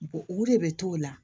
U de bɛ t'o la